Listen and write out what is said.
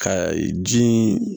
Ka ji